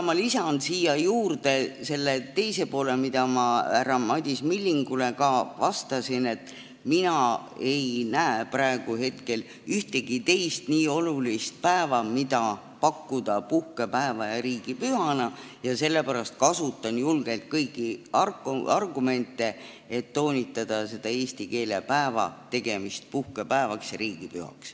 Ma lisan siia juurde selle, mida ma härra Madis Millingule vastates ütlesin, et mina ei näe praegu ühtegi teist nii olulist päeva, mida pakkuda puhkepäevaks ja riigipühaks, ja sellepärast kasutan julgelt kõiki argumente, et toonitada, et eesti keele päev tuleks teha puhkepäevaks ja riigipühaks.